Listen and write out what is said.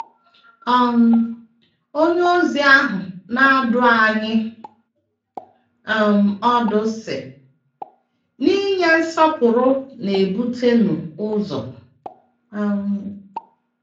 um onyeozi ahu na - adụ anyị um ọdụ, sị: “ N’inye nsọpụrụ, na - ebutenụ ụzọ um. ”